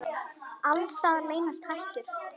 Alls staðar leynast hættur.